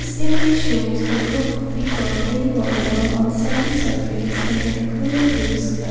This image shows a group of people playing volleyball on a sandy surface under clear blue sky.